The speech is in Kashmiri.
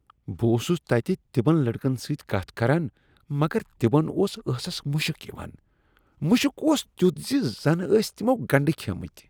بہٕ اوسس تتہ تمن لٔڑکن سۭتۍ کتھ کران مگر تمن اوس ٲسس مشک یوان۔ مشک اوس تیتھ ز زنہٕ ٲسۍ تمو گنڈٕ کھیٚمٕتۍ۔